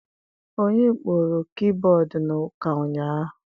Onye kpọrọ kiiboodu na ụka ụnyaahụ?